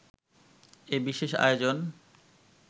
এ বিশেষ আয়োজন